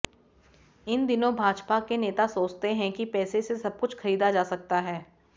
इन दिनों भाजपा के नेता सोचते हैं कि पैसे से सबकुछ खरीदा जा सकता है